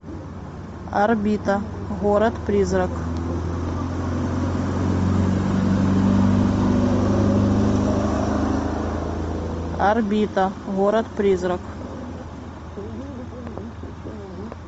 орбита город призрак орбита город призрак